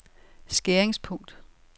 skæringspunkt